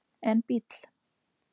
en bíll